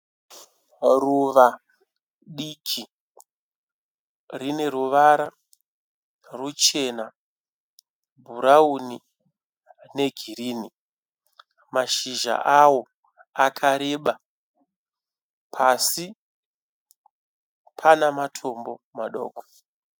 ruva diki rine ruvara rwuchena, bhrauni, negirini mashisha awo akareba pasi pane matombo madoko.